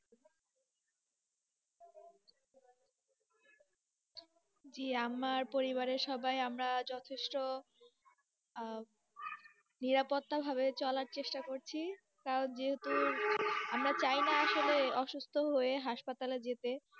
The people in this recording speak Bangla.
জি আমার পরিবারের সবাই আমরা যথেষ্ট নিরাপত্তা ভাবে চলার চেষ্টা করছি, কারণ যেহেতু, আমরা চাই না আসলে অসুস্থ হয়ে হাসপাতালে যেতে।